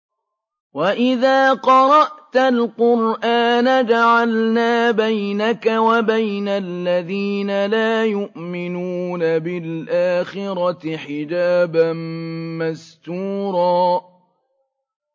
وَإِذَا قَرَأْتَ الْقُرْآنَ جَعَلْنَا بَيْنَكَ وَبَيْنَ الَّذِينَ لَا يُؤْمِنُونَ بِالْآخِرَةِ حِجَابًا مَّسْتُورًا